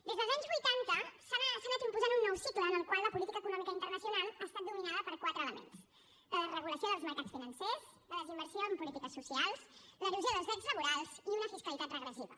des dels anys vuitanta s’ha anat impostant un nou cicle en el qual la política econòmica internacional ha estat dominada per quatre elements la desregulació dels mercats financers la desinversió en polítiques socials l’erosió dels drets laborals i una fiscalitat regressiva